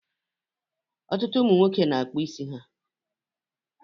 Ọtụtụ ụmụ nwoke na-akpụ isi ha